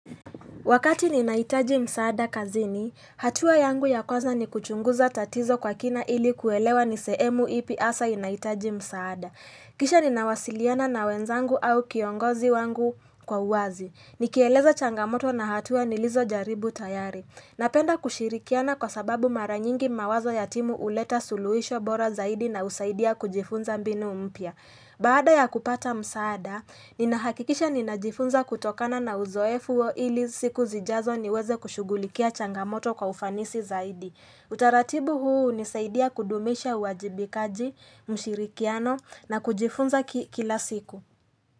Wakati ninahitaji msaada kazini, hatua yangu ya kwanza ni kuchunguza tatizo kwa kina ili kuelewa nisehemu ipi hasa inahitaji msaada. Kisha ninawasiliana na wenzangu au kiongozi wangu kwa uwazi. Nikieleza changamoto na hatua nilizo jaribu tayari. Napenda kushirikiana kwa sababu mara nyingi mawazo ya timu huleta suluhisho bora zaidi na husaidia kujifunza mbinu mpya. Baada ya kupata msaada, ninahakikisha ninajifunza kutokana na uzoefu wa ili siku zijazo niweze kushughulikia changamoto kwa ufanisi zaidi. Utaratibu huu hunisaidia kudumisha uajibikaji mshirikiano na kujifunza kila siku.